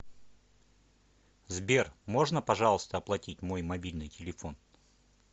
сбер можно пожалуйста оплатить мой мобильный телефон